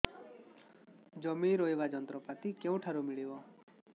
ଜମି ରୋଇବା ଯନ୍ତ୍ରପାତି କେଉଁଠାରୁ ମିଳିବ